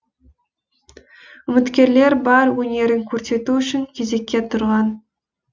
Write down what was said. үміткерлер бар өнерін көрсету үшін кезекке тұрған